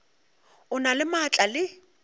o na le maatla le